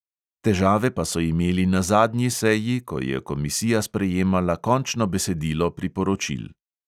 Težave pa so imeli na zadnji seji, ko je komisija sprejemala končno besedilo priporočil.